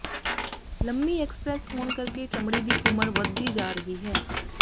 ਲੰਮੀ ਐਕਸਪ੍ਰੈਸ ਹੋਣ ਕਰਕੇ ਚਮੜੀ ਦੀ ਉਮਰ ਵੱਧਦੀ ਜਾ ਰਹੀ ਹੈ